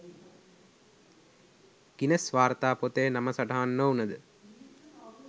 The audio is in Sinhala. ගිනස් වාර්තා පොතේ නම සටහන් නොවුණද